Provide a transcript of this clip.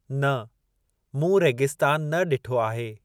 न, मूं रेगिस्तान न ॾिठो आहे।